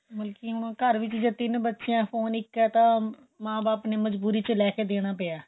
ਮਤਲਬ ਕਿ ਘਰ ਵਿੱਚ ਜੇ ਤਿੰਨ ਬੱਚੇ ਏ ਫੋਨ ਇੱਕ ਏ ਤਾਂ ਮਾਂ ਬਾਪ ਨੇ ਮਜਬੂਰੀ ਵਿੱਚ ਲੈਕੇ ਦੇਣਾ ਪਿਆਂ